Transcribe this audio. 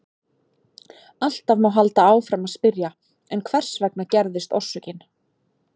Alltaf má halda áfram að spyrja: En hvers vegna gerðist orsökin?